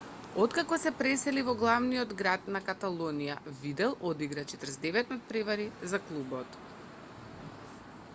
откако се пресели во главниот град на каталонија видал одигра 49 натпревари за клубот